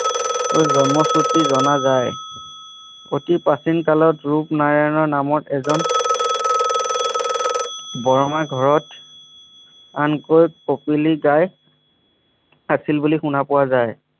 জন্ম শ্ৰুতি জনা যায় অতি প্ৰাচীন কালত ৰূপ নাৰায়ণ নামৰ এজন বৰ মাৰ ঘৰত আনকৈ পপিলি গায় আছিল বুলি শুনা পোৱা যায়